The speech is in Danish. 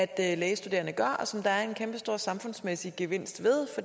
at lægestuderende gør og som der er en kæmpestor samfundsmæssig gevinst ved